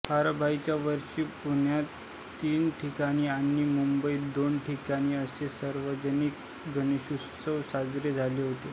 प्रारंभीच्या वर्षी पुण्यात तीन ठिकाणी आणि मुंबईत दोन ठिकाणी असे सार्वजनिक गणेशोत्सव साजरे झाले होते